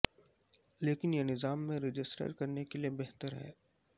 لیکن یہ نظام میں رجسٹر کرنے کے لئے بہتر ہے